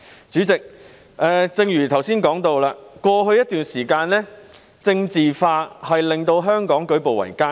主席，正如我剛才提到，過去一段時間，"政治化"的問題令香港舉步維艱。